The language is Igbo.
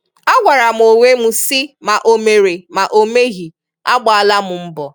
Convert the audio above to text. Agwara m onwe m sị ma o mere ma o meghị, agbaala m mbọ".